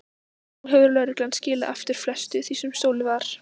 Nú hefur lögreglan skilað aftur flestu því sem stolið var.